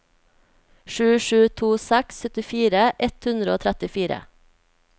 sju sju to seks syttifire ett hundre og trettifire